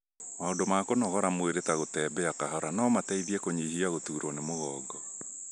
maũndũ ma kũnogora mwĩrĩ ta gũtembea kahora no mateithie kũnyihia gũtuurwo nĩ mũgongo.